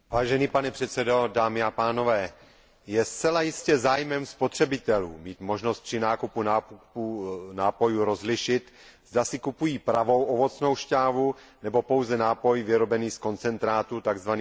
Pane předsedající, je zcela jistě zájmem spotřebitelů mít možnost při nákupu nápojů rozlišit, zda si kupují pravou ovocnou št'ávu, nebo pouze nápoj vyrobený z koncentrátu, tzv.